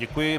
Děkuji.